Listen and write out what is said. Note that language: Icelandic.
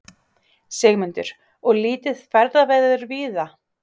Sigmundur: Og lítið ferðaveður víða?